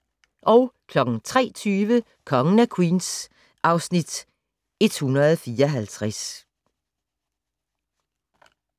03:20: Kongen af Queens (Afs. 154)